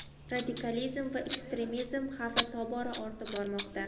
radikalizm va ekstremizm xavfi tobora ortib bormoqda.